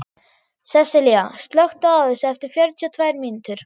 Sessilía, slökktu á þessu eftir fjörutíu og tvær mínútur.